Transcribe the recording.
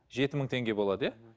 жеті мың теңге болады иә мхм